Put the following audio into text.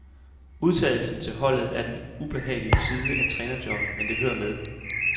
Udtagelsen til holdet er den ubehagelige side af trænerjobbet, men det hører med.